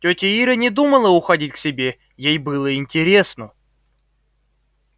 тётя ира не думала уходить к себе ей было интересно